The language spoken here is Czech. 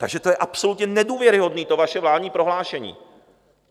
Takže to je absolutně nedůvěryhodné, to vaše vládní prohlášení.